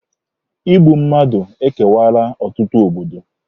Igbu mmadụ ekewaala ọtụtụ obodo.